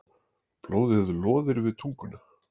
Blóðið loðir við tunguna.